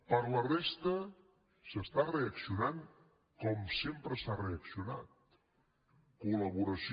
per a la resta es reacciona com sempre s’ha reaccionat col·laboració